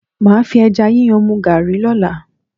Màá fi ẹja yíyan mu Garri lọ́la.